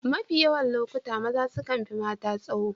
Mafi yawan lokuta maza sukan fi mata tsaho